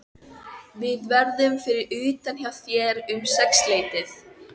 Við verðum fyrir utan hjá þér um sexleytið.